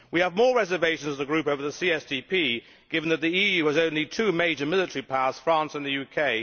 We have more reservations as a group over the CSDP, given that the EU has only two major military powers France and the UK.